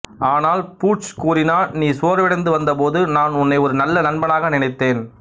ஆனால் பூர்ச்சு கூறினான் நீ சோர்வடைந்து வந்தபோது நான் உன்னை ஒரு நல்ல நண்பனாக நினைத்தேன்